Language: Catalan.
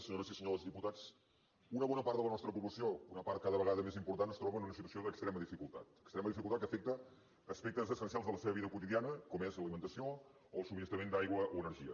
senyores i senyors diputats una bona part de la nostra població una part cada vegada més important es troba en una situació d’extrema dificultat extrema dificultat que afecta aspectes essencials de la seva vida quotidiana com són l’alimentació o el subministrament d’aigua o energia